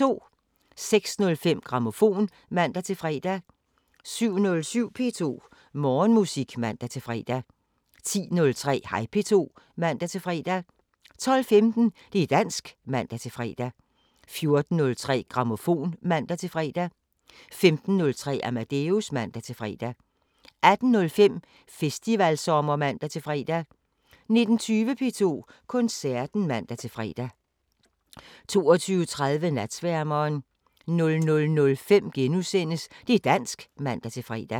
06:05: Grammofon (man-fre) 07:07: P2 Morgenmusik (man-fre) 10:03: Hej P2 (man-fre) 12:15: Det´ dansk (man-fre) 14:03: Grammofon (man-fre) 15:03: Amadeus (man-fre) 18:05: Festivalsommer (man-fre) 19:20: P2 Koncerten (man-fre) 22:30: Natsværmeren 00:05: Det´ dansk *(man-fre)